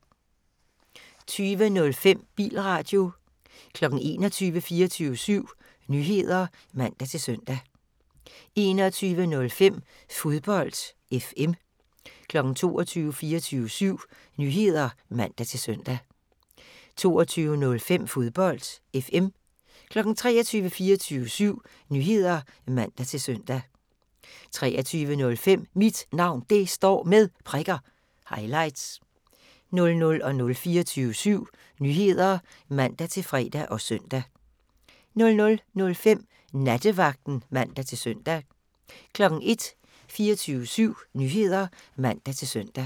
20:05: Bilradio 21:00: 24syv Nyheder (man-søn) 21:05: Fodbold FM 22:00: 24syv Nyheder (man-søn) 22:05: Fodbold FM 23:00: 24syv Nyheder (man-søn) 23:05: Mit Navn Det Står Med Prikker – highlights 00:00: 24syv Nyheder (man-fre og søn) 00:05: Nattevagten (man-søn) 01:00: 24syv Nyheder (man-søn)